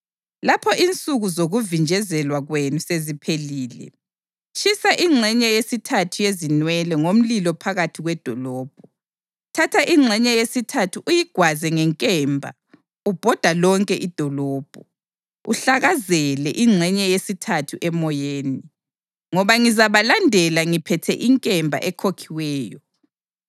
Lapho insuku zokuvinjezelwa kwenu seziphelile, tshisa ingxenye yesithathu yezinwele ngomlilo phakathi kwedolobho. Thatha ingxenye yesithathu uyigwaze ngenkemba ubhoda lonke idolobho, uhlakazele ingxenye yesithathu emoyeni. Ngoba ngizabalandela ngiphethe inkemba ekhokhiweyo.